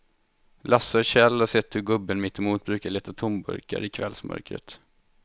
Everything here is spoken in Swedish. Lasse och Kjell har sett hur gubben mittemot brukar leta tomburkar i kvällsmörkret.